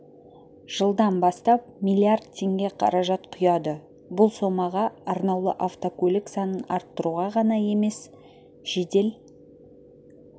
жылдан бастап миллиард теңге қаражат құяды бұл сомаға арнаулы автокөлік санын арттыруға ғана емес жедел